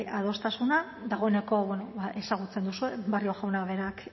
adostasuna dagoeneko ezagutzen duzue barrio jaunak berak